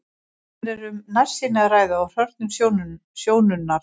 Hér er um nærsýni að ræða og hrörnun sjónunnar.